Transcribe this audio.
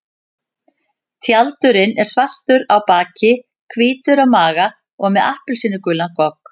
Tjaldurinn er svartur á baki, hvítur á maga og með appelsínugulan gogg.